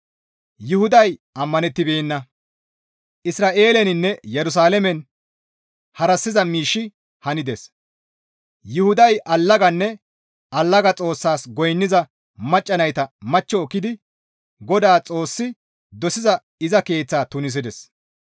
Yuhuday ammanettibeenna; Isra7eeleninne Yerusalaamen harassiza miishshi hanides; Yuhuday allaganne allaga xoossas goynniza macca nayta machcho ekkidi Godaa Xoossi dosiza iza keeththa tunisides.